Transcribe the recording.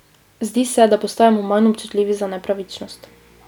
Zdi se, da postajamo manj občutljivi za nepravičnost.